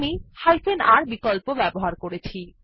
আমি হাইফেনr বিকল্প ব্যবহার করেছি